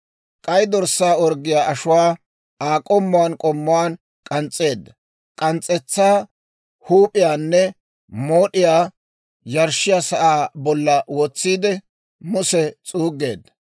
K'ay dorssaa orggiyaa ashuwaakka Aa k'ommuwaan k'ommuwaan k'ans's'eedda; k'ans's'etsaa, huup'iyaanne mood'iyaa yarshshiyaa sa'aa bolla wotsiide Muse s'uuggeedda.